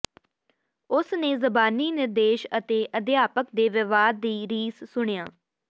ਉਸ ਨੇ ਜ਼ਬਾਨੀ ਨਿਰਦੇਸ਼ ਅਤੇ ਅਧਿਆਪਕ ਦੇ ਵਿਵਹਾਰ ਦੀ ਰੀਸ ਸੁਣਿਆ